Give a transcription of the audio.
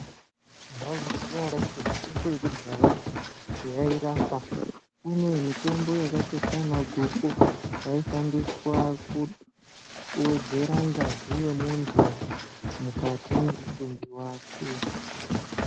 Maizviziya ere kuti mitombo yekudhaya yairapa .Kune mitombo yakaita seana guku yaishandiswa ku kuwedzera ngazi yemunhu mukati memuviri wake .